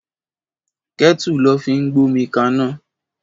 Kètú lò fi n gbómikàná